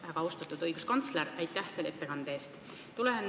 Väga austatud õiguskantsler, aitäh selle ettekande eest!